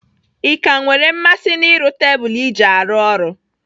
Ị ka nwere mmasị n'ịrụ tebụl iji arụ ọrụ?